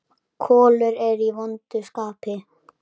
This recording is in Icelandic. Kolur er í vondu skapi.